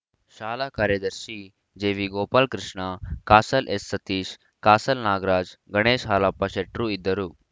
ಶಾಲಾ ಕಾರ್ಯದರ್ಶಿ ಜೆವಿಗೋಪಾಲಕೃಷ್ಣ ಕಾಸಲ್‌ ಎಸ್‌ಸತೀಶ ಕಾಸಲ್‌ ನಾಗರಾಜಗಣೇಶ ಹಾಲಪ್ಪ ಶೆಟ್ರು ಇದ್ದರು